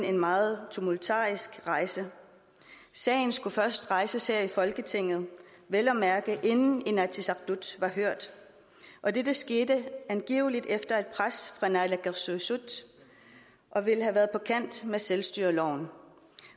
en meget tumultarisk rejse sagen skulle først rejses her i folketinget vel at mærke inden inatsisartut var hørt og dette skete angiveligt efter et pres fra naalakkersuisut og ville have været på kant med selvstyreloven